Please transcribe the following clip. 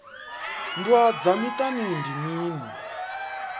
nndwa dza miṱani ndi mini